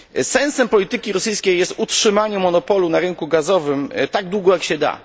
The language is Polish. Sensem polityki rosyjskiej jest utrzymanie monopolu na rynku gazowym tak długo, jak się da.